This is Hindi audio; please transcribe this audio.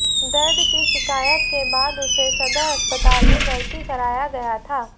दर्द की शिकायत के बाद उसे सदर अस्पताल में भर्ती कराया गया था